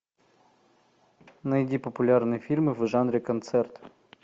найди популярные фильмы в жанре концерт